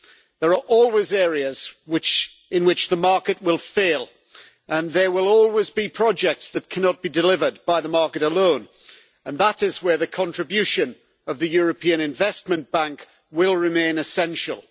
There are always areas in which the market will fail and there will always be projects that cannot be delivered by the market alone, and that is where the contribution of the European Investment Bank will remain essential.